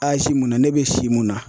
munna ne bɛ si mun na